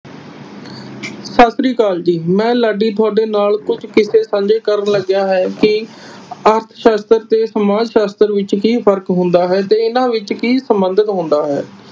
ਸਤਿ ਸ੍ਰੀ ਅਕਾਲ। ਮੈਂ ਜੀ ਮੈਂ ਲਾਡੀ ਤੁਹਾਡੇ ਨਾਲ ਕੁਝ ਕਿਸੇ ਸਾਂਝੇ ਕਰਨ ਲੱਗਿਆ ਹੈ ਕਿ ਅਰਥ ਸ਼ਾਸਤਰ ਤੇ ਸਮਾਜ ਸ਼ਾਸਤਰ ਵਿਚ ਕਿ ਫਰਕ ਹੁੰਦਾ ਹੈ ਤੇ ਇਹਨਾਂ ਵਿਚ ਕਿ ਸੰਬੰਧਿਤ ਹੁੰਦਾ ਹੈ।